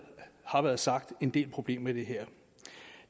sagt er en del problemer med det her